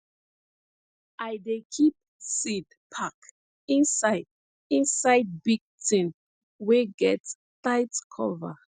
i dey keep seed pack inside inside big tin wey get tight cover